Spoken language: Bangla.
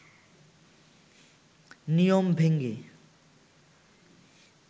নিয়ম ভেঙ্গে